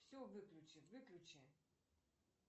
все выключи выключи